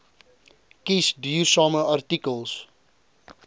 kies duursame artikels